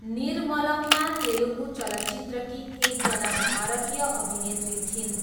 निर्मलम्मा तेलुगु चलचित्रकी एकजना भारतीय अभिनेत्री थिइन्।